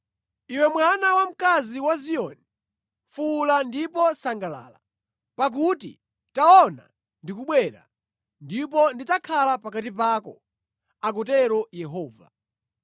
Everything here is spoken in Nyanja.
“Iwe mwana wamkazi wa Ziyoni, fuwula ndipo sangalala. Pakuti taona ndikubwera, ndipo ndidzakhala pakati pako,” akutero Yehova.